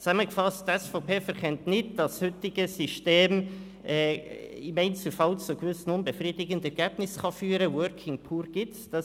Zusammengefasst: Die SVP-Fraktion verkennt nicht, dass das heutige System im Einzelfall zu gewissen unbefriedigenden Ergebnissen führen kann, und «Working Poor» gibt es.